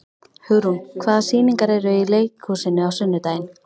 Hugrún, hvaða sýningar eru í leikhúsinu á sunnudaginn?